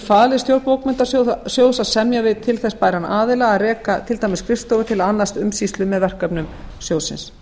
falið stjórn bókmenntasjóðs að semja við til þess bæran aðila að reka til dæmis skrifstofu til að annast umsýslu með verkefnum sjóðsins